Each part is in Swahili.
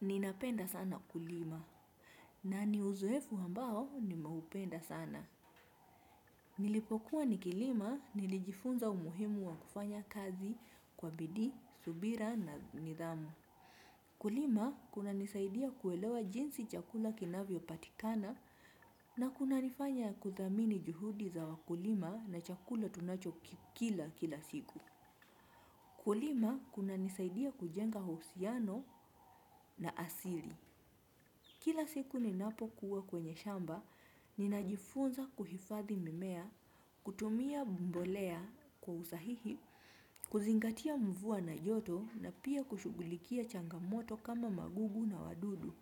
Ninapenda sana kulima. Nani uzoefu ambao nimeupenda sana. Nilipokuwa nikilima nilijifunza umuhimu wa kufanya kazi kwa bidii, subira na nidhamu. Kulima kuna nisaidia kuelewa jinsi chakula kinavyo patikana na kuna nifanya kuthamini juhudi za wakulima na chakula tunacho kila kila siku. Kulima kuna nisaidia kujenga uhusiano na asili. Kila siku ninapo kuwa kwenye shamba, ninajifunza kuhifathi mimea, kutumia mbolea kwa usahihi, kuzingatia mvua na joto na pia kushughulikia changamoto kama magugu na wadudu.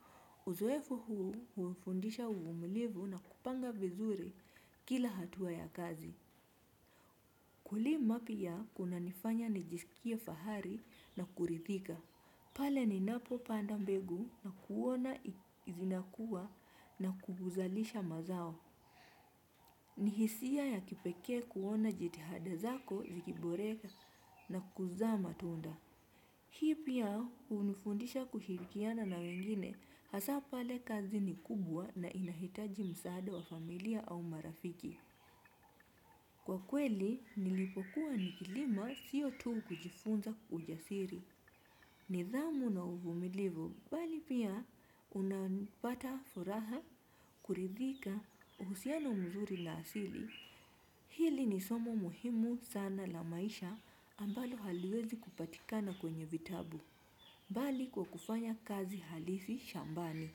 Uzoefu huu huufundisha uvumilivu na kupanga vizuri kila hatua ya kazi. Kulima pia kuna nifanya nijisikie fahari na kurithika. Pale ni napo panda mbegu na kuona zinakuwa na kuguzalisha mazao. Ni hisia ya kipekee kuona jitihada zako zikiboreka na kuzaa matunda. Hii pia hunifundisha kushirikiana na wengine hasaa pale kazi ni kubwa na inahitaji msaada wa familia au marafiki. Kwa kweli, nilipokuwa nikilima siyo tu kujifunza ujasiri. Nidhamu na uvumilivu, bali pia unapata furaha, kuridhika, uhusiano mzuri na asili. Hili ni somo muhimu sana la maisha ambalo haliwezi kupatikana kwenye vitabu, bali kwa kufanya kazi halisi shambani.